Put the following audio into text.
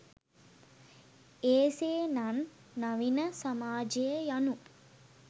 එසේ නන් නවීන සමාජය යනු